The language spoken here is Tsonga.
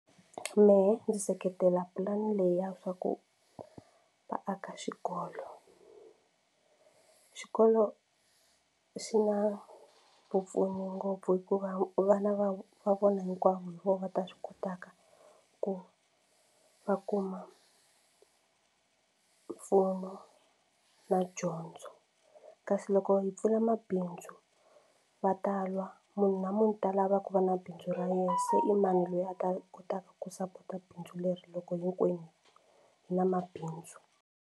Mehe ndzi seketela plan leya swa ku va aka xikolo. Xikolo xi na vupfuni ngopfu hikuva vana va va vona hinkwavo hi voho va ta swi kotaka ku va kuma mfumo na dyondzo kasi loko hi pfula mabindzu va ta lwa munhu na munhu u ta lava ku va na bindzu ra yena se i mani loyi a ta kotaka ku sapota bindzu leri loko hinkwenu hi na mabindzu.